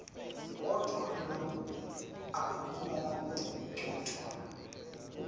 kodvwa loku akukanconotwa